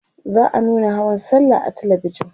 za'a nuna hawan sallah a talabijan